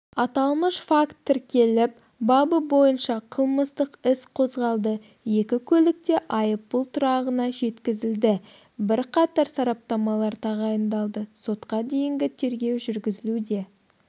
аталмыш факт тіркеліп бабы бойынша қылмыстық іс қозғалды екі көлік те айыппұл тұрағына жеткізілді бірқатар сараптамалар тағайындалды сотқа дейінгі тергеу жүргізілуде